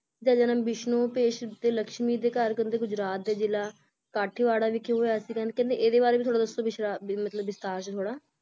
ਦਾ ਜਨਮ ਵਿਸ਼ਨੂੰ ਭੇਸ਼ ਤੇ ਲਕਸ਼ਮੀ ਦੇ ਘਰ ਕਹਿੰਦੇ ਗੁਜਰਾਤ ਦੇ ਜਿਲ੍ਹਾ ਕਾਠੀਵਾੜਾ ਵਿਖੇ ਹੋਏ ਹੋਇਆ ਸੀ ਕਹਿੰਦੇ ਇਹਦੇ ਬਾਰੇ ਵੀ ਥੋੜਾ ਦੱਸੋ ਵਿਸਥਾ ਵਿਸਥਾਰ ਚ ਥੋੜਾ